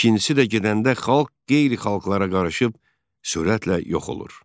İkincisi də gedəndə xalq qeyri-xalqlara qarışıb sürətlə yox olur.